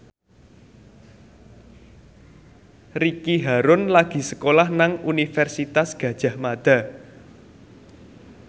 Ricky Harun lagi sekolah nang Universitas Gadjah Mada